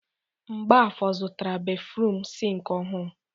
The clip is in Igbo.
Mgbafor zụtara béfrụm sịnkị ọhụrụ.